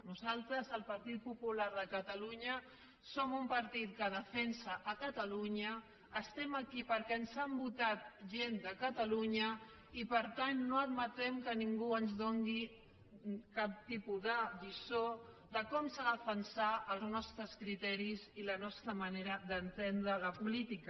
nosaltres el partit popular de catalunya som un partit que defensa catalunya estem aquí perquè ens ha votat gent de catalunya i per tant no admetrem que ningú ens doni cap tipus de lliçó de com s’han de defensar els nostres criteris i la nostra manera d’entendre la política